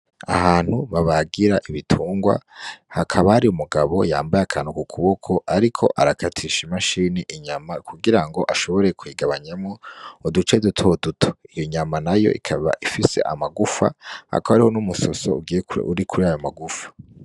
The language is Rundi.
Ahantu babagira ibitungwa hakaba hari umugabo yambaye akantu ku kuboko ariko arakatisha imashini inyama kugirango ashobore kuyigabanyamwo uduce duto duto iyo nyama nayo ikaba ifise amagufa hakaba hariho numusoso uri kurayo magufa.